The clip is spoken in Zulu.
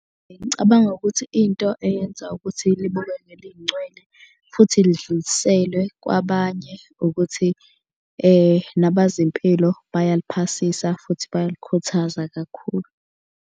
Ngicabanga ukuthi into eyenza ukuthi libukeke lingcwele futhi lidluliselwe kwabanye ukuthi nabazempilo bayaliphasisa futhi bayalikhuthaza kakhulu.